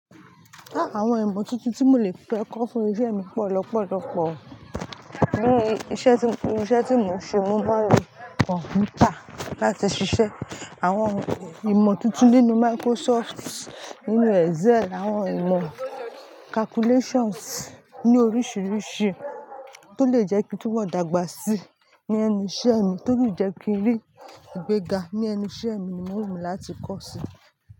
Àwon ìmò tuntun tí mo lè fẹ́ kọ́ fún isẹ́ mi pọ̀ lọ́pọ̀lọ́pọ̀. Bii isẹ́ tí, iru isẹ́ tí mo ń ṣe, mo máa ń lo kọ̀mpútà láti ṣiṣẹ́. Àwon ìmò tuntun nínú Microsoft, nínú Excel, àwon ìmò calculations ní oríṣiiríṣii tó lè jẹ́ kí n tun mọ́ dàgbà sí ní ẹnu isẹ́ mi, tó le jẹ́ kí n ri igbega ní ẹnu isẹ́ mi ni mo ro láti kọ́ si.